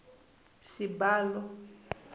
xibalo